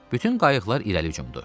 Bütün qayıqlar irəli hücumdu.